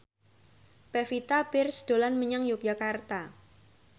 Pevita Pearce dolan menyang Yogyakarta